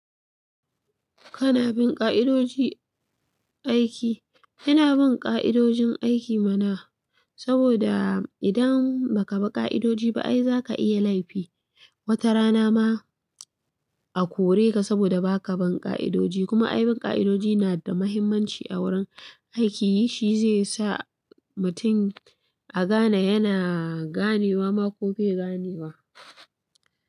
Kana bin ƙa'idoji aiki? Ina bin ƙa'idojin aiki mana, saboda idan baka bi ƙa'idoji ba ai zaka iya laifi. Wata rana ma a kore ka saboda baka bi ƙa'idoji. Kuma a bin ƙa'idoji na da muhimmanci a wurin aiki, shi zai sa mutum a gane yana ganewa ma ko bai ganewa ba.